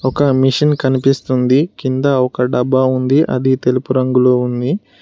ఒక మిషన్ కనిపిస్తుంది కింద ఒక డబ్బా ఉంది అది తెలుపు రంగులో ఉంది.